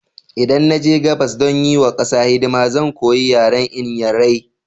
Idan na je gabas don yi wa ƙasa hidima, zan koya yaren Inyairai.